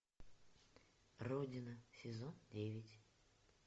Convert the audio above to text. родина сезон девять